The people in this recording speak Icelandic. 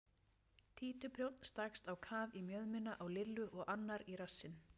Títuprjónn stakkst á kaf í mjöðmina á Lillu og annar í rassinn.